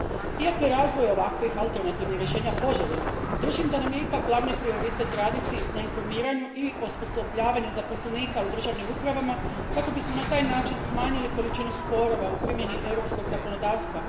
Iako je razvoj ovakvih alternativnih rješenja poželjan držim da nam je ipak glavni prioritet raditi na informiranju i osposobljavanju zaposlenika u državnim upravama kako bismo na taj način smanjili količinu sporova u primjeni europskog zakonodavstva.